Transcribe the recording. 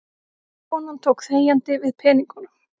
Konan tók þegjandi við peningunum.